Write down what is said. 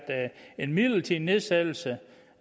en midlertidig nedsættelse